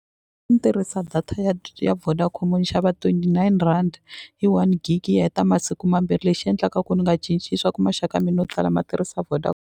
Ni tirhisa data ya ya Vodacom ni xava twenty nine rand hi one gig yi heta masiku mambirhi lexi endlaka ku ni nga cinci i swaku maxaka yo tala ma tirhisa .